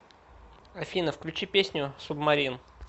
афина включи песню субмарин